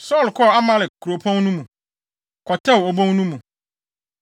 Saulo kɔɔ Amalek kuropɔn no mu, kɔtɛw obon no mu.